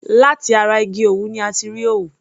Láti ara igi òwú ni a ti rí òwú.